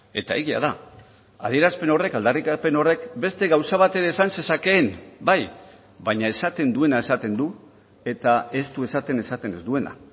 eta egia da adierazpen horrek aldarrikapen horrek beste gauza bat ere esan zezakeen bai baina esaten duena esaten du eta ez du esaten esaten ez duena